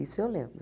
Isso eu lembro.